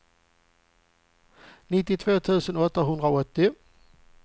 nittiotvå tusen åttahundraåttio